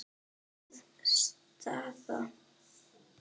Góð staða.